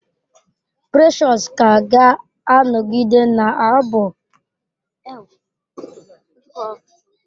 Precious ka ga-anọgide na-abụ matrịak nke ezinụlọ ya.